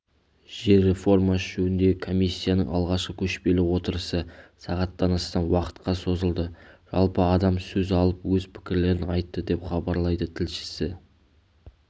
жер реформасы жөніндегі комиссияның алғашқы көшпелі отырысы сағаттан астам уақытқа созылды жалпы адам сөз алып өз пікірлерін айтты деп хабарлайды тілшісі